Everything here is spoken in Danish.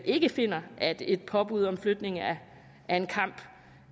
ikke finder at et påbud om flytning af en kamp